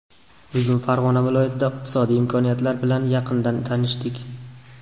Bugun Farg‘ona viloyatidagi iqtisodiy imkoniyatlar bilan yaqindan tanishdik.